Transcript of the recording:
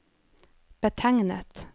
betegnet